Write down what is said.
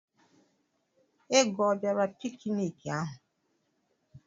Ego ọ bịara pikiniki ahụ?